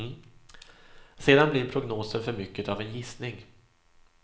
Sedan blir prognosen för mycket av en gissning.